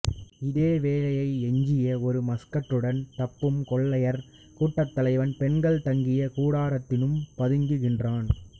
இதேவேளை எஞ்சிய ஒரு மஸ்கட்டுடன் தப்பும் கொள்ளையர் கூட்டத்தலைவன் பெண்கள் தங்கிய கூடாரத்தினும் பதுங்குகின்றான்